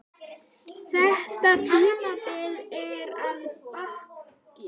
Þetta tímabil er að baki.